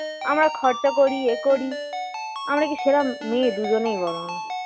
আমরা খরচা করি এ করি আমরা কি সেরকম মেয়ে দুজনেই বলনা